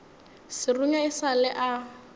serunya e sa le a